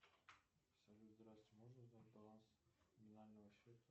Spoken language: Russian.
салют здравствуй можно узнать баланс номинального счета